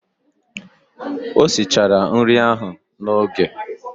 O sichara nri ahụ n'oge.